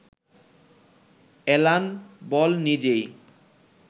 Alan Ball নিজেই